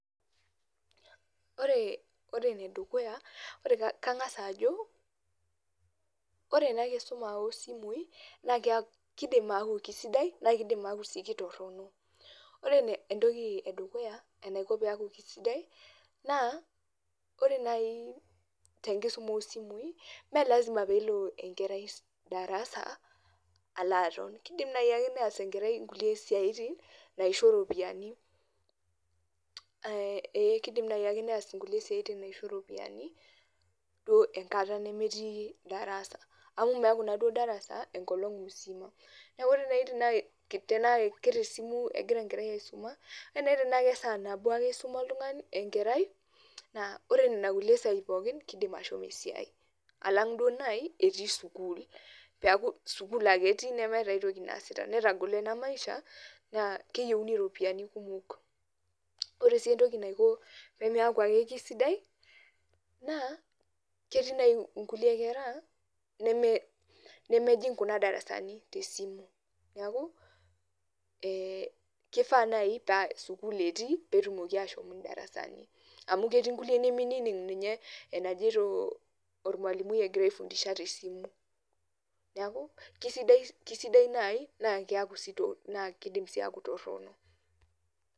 Ore enedukuya kankas ajo, ore ena kisuma oosimui kiidim aaku kisidai naa kidim aaku ketoronok. Ore entoki edukuya enaiko peeku kisidai naa ore naaji tenkisum osimui meelasima pee ilo darasa alo aton kiidim naayiake neas enkarai kulie siatin naisho iropiyiani, ee kiidim naayiake neas kulis siatin naisho iropiyiani duo enkata nemetii darasa, amu meekure duo darasa enkolong misima. Neeku ore nai tenaa katesimu egira enkerai aisuma, kaidim naaji nanu atejo tenaa katesaa nabo naaji ake isuma enkerai naa ore nena kulie sai pookin kiidim ashomo esiai, alang' duo naai etii sukuul, peeku sukuul ake etii nemetii aitoki naasita netagolo ena maisha naa keyieuni iropiyiani kumok. Ore sii entoki naiko peeku ake keisidai naa ketii naai inkulie kera nemejing kuna darasani naa kifaanai paasukuul etii peetumoki aashom indarasani, amu ketii inkulie niminining ninye enajeito olmalimui egira aifundisha tesimu. Neeku keisidai naayi nidim sii aaku keitoronok.